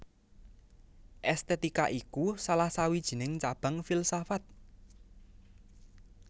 Èstètika iku salah sawijining cabang filsafat